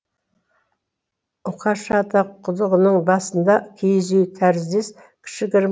үкаша ата құдығының басында киіз үй тәріздес кішігірім